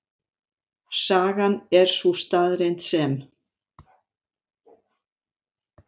Sagan er sú staðreynd sem.